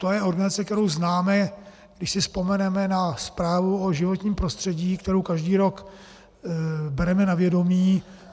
To je organizace, kterou známe, když si vzpomeneme na zprávu o životním prostředí, kterou každý rok bereme na vědomí.